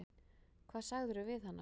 Hvað sagðirðu við hana?